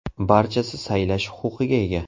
Barchasi saylash huquqiga ega.